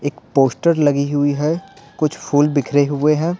एक पोस्टर लगी हुई है कुछ फूल बिखरे हुए हैं।